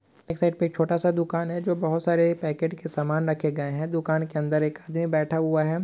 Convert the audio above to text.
एक साइड पर छोटा सा दुकान है जो बहुत सारे पैकेट के सामान रखे गए हैं दुकान के अंदर एक आदमी बैठा हुआ है।